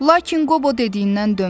Lakin Qobo dediyindən dönmürdü.